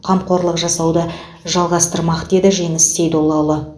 қамқорлық жасауды жалғастырмақ деді жеңіс сейдоллаұлы